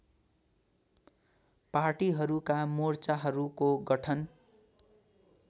पार्टीहरूका मोर्चाहरूको गठन